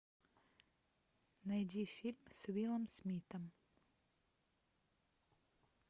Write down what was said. найди фильм с уиллом смитом